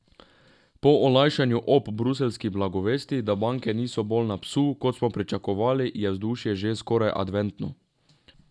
Po olajšanju ob bruseljski blagovesti, da banke niso bolj na psu, kot smo pričakovali, je vzdušje že skoraj adventno.